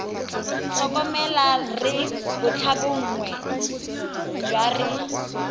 tlhokomela re bontlhabongwe jwa re